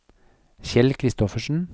Kjell Kristoffersen